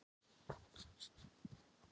Ég hélt að við værum saman!